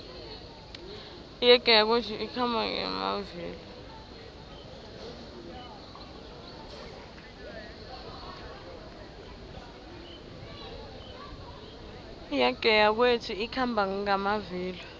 iyege yakwethu ikhamba ngamavilo